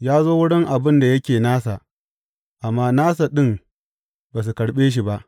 Ya zo wurin abin da yake nasa, amma nasa ɗin ba su karɓe shi ba.